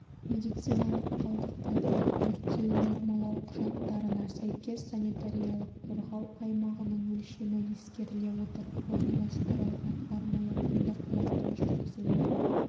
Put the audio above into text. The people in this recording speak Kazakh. медициналық қалдықтарды өртеу нормалау құжаттарына сәйкес санитариялық-қорғау аймағының өлшемі ескеріле отырып орналастырылған арнайы қондырғыларда жүргізіледі